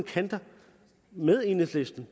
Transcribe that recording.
med enhedslistens